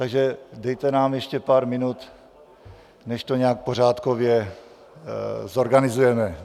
Takže dejte nám ještě pár minut, než to nějak pořádkově zorganizujeme.